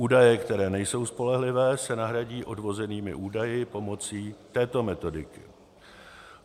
Údaje, které nejsou spolehlivé, se nahradí odvozenými údaji pomocí této metodiky.